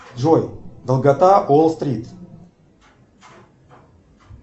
джой долгота уолл стрит